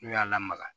N'u y'a lamaga